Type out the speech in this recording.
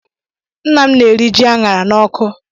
Nna m na-eri ji aṅara n'ọkụ.